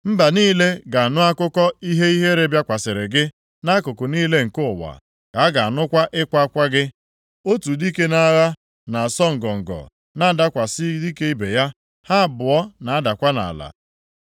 Mba niile ga-anụ akụkọ ihe ihere bịakwasịrị gị. Nʼakụkụ niile nke ụwa ka a ga-anụkwa ịkwa akwa gị. Otu dike nʼagha na-asọ ngọngọ na-adakwasị dike ibe ya; ha abụọ na-adakwa nʼala.”